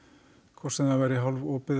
hvort sem það væri